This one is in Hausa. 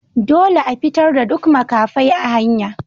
Dolle a fitar da duk makafai a hanya!